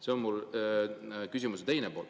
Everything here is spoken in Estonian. " See on mul küsimuse teine pool.